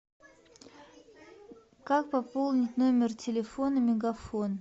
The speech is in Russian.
как пополнить номер телефона мегафон